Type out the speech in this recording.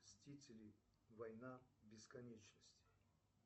мстители война бесконечности